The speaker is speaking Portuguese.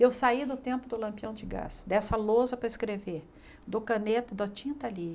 Eu saí do tempo do lampião de gás, dessa lousa para escrever, do caneta, da tinta ali.